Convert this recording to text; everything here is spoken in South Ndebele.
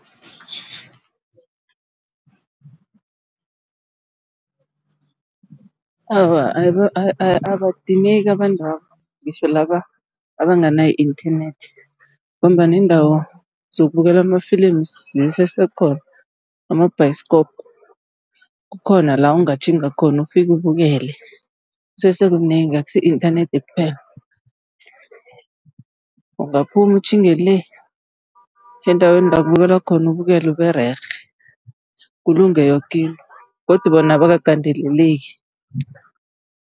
Awa, abadimeki abantwaba ngitjho laba abanganayo i-internet, ngombana iindawo zokubukela amafilimu zisese khona ama-bioskop. Kukhona la ungatjhinga khona ufike ubukele, kusese kunengi akusi yi-inthanethi kuphela. Ungaphuma utjhinge le endaweni la kubukelwa khona ubukele ube rerhe, kulunge yoke into godu bona abakagandeleleki.